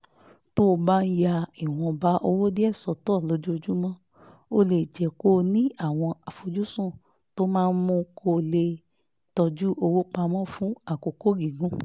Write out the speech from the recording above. tó o bá ń ya ìwọ̀nba owó díẹ̀ sọ́tọ̀ lójoojúmọ́ ó lè jẹ́ kó o ní àwọn àfojúsùn tó máa mú kó o lè tọ́jú owó pa mọ́ fún àkókò gígùn